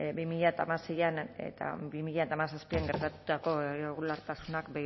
bi mila hamaseian eta bi mila hamazazpian gertatutako irregulartasunak